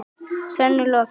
Sönnun lokið.